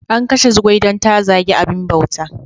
An kashe Zugwai don ta zagi abin bauta.